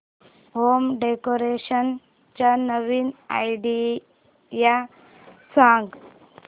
home decoration च्या नवीन idea सांग